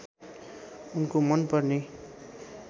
उनको मनपर्ने